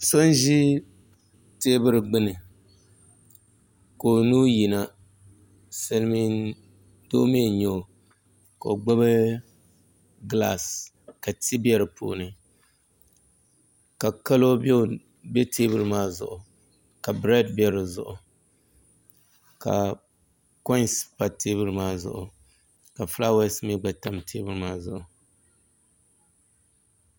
So n ʒi teebuli gbuni ka o nuu yina silmiin doo mii n nyɛ o ka o gbubi gilaas ka ti bɛ di puuni ka kalo bɛ teebuli maa zuɣu ka breed bɛ di zuɣu ka koins pa teebuli maa zuɣu ka fulaawaasi mii gba tam teebuli maa zuɣu